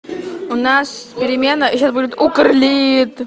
у нас перемена сейчас будет укр лит